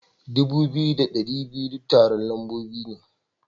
Dubu biyu da dari biyu da tara lamba ne.